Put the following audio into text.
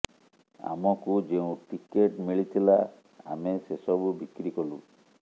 ଆମକୁ ଯେଉଁ ଟିକେଟ୍ ମିଳିଥିଲା ଆମେ ସେସବୁ ବିକ୍ରି କଲୁ